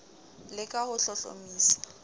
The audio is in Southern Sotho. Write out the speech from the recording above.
le f ka ho hlohlomisa